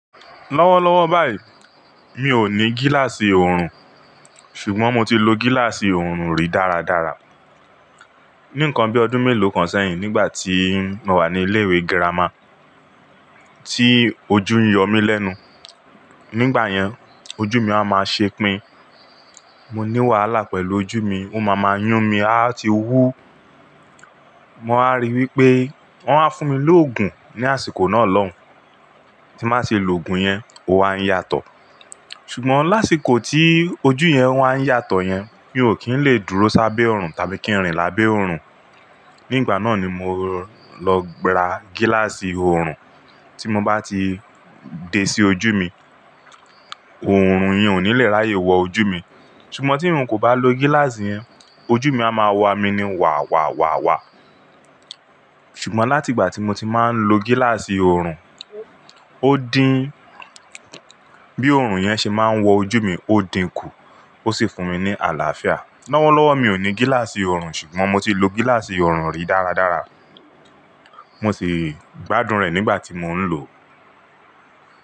Lọ́wọ́lọ́wọ́ báyìí mi ò ní gíláàsì oorun, ṣùgbọ́n mo ti lo gíláàsì oorun rí dáradára. Ní nǹkan bí ọdún mélòó kan sẹ́yìn, nígbà tí mo wà ní ilé ìwé girama tí ojú n yọ mí lẹ́nu. Nígbà yẹn, ojú mi a máa ṣepin, mo ní wàhálà pẹ̀lú ojú mi, ó ma ma yún mi, a ti wú. Mo máa rí i wí pé wọ́n wá fún mi lóògùn ní àsìkò náà lọ́hùn-ún, tí n bá ṣe lògùn yẹn, ó wa ń yàtọ̀. Ṣùgbọ́n lásìkò tí ojú yẹn wa ń yàtọ̀ yẹn, mi ò kí ń lè dúró sábẹ́ oorun tàbí kí n rìn lábẹ́ oorun. Nígbà náà ni mo lọ gb--ra gíláàsì oorun, tí mo bá ti dé sí ojú mi, oorun yẹn ò ní le ráyè wọ ojú mi. Ṣùgbọ́n tí n kò bá lo gíláàsì yẹn, ojú mi a máa wàmí ní wà wà wà wà. Ṣùgbọ́n láti ìgbà tí mo ti máa ń lo gíláàsì oorun, ó dín bí oorun yẹn ṣe máa ń wọ ojú mi, ó dín kù, ó sì fún mi ní àlàáfíà. Lọ́wọ́lọ́wọ́ mi ò ní gíláàsì oorun ṣùgbọ́n mo ti lo gíláàsì oorun rí dáradára. Mo sì gbádùn rẹ̀ nígbà tí mo ń lò ó.